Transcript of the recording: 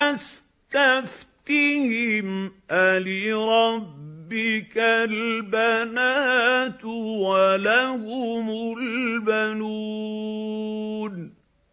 فَاسْتَفْتِهِمْ أَلِرَبِّكَ الْبَنَاتُ وَلَهُمُ الْبَنُونَ